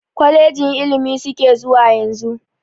Kolejin ilimi suke zuwa yanzu.